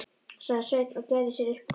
sagði Sveinn og gerði sér upp hlátur.